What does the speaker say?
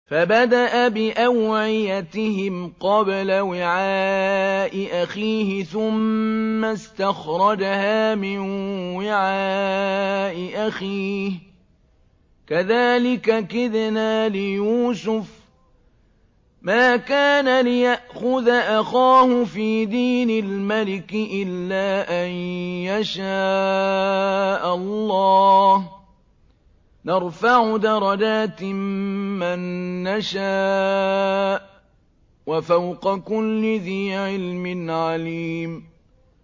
فَبَدَأَ بِأَوْعِيَتِهِمْ قَبْلَ وِعَاءِ أَخِيهِ ثُمَّ اسْتَخْرَجَهَا مِن وِعَاءِ أَخِيهِ ۚ كَذَٰلِكَ كِدْنَا لِيُوسُفَ ۖ مَا كَانَ لِيَأْخُذَ أَخَاهُ فِي دِينِ الْمَلِكِ إِلَّا أَن يَشَاءَ اللَّهُ ۚ نَرْفَعُ دَرَجَاتٍ مَّن نَّشَاءُ ۗ وَفَوْقَ كُلِّ ذِي عِلْمٍ عَلِيمٌ